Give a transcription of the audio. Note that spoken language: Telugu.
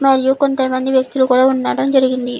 మరియు కొంతమంది వ్యక్తులు కూడా ఉండడం జరిగినది.